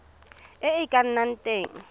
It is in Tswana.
e e ka nnang teng